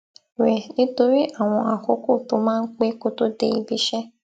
rè nítorí àwọn àkókò tó máa ń pé kó tó dé ibi iṣé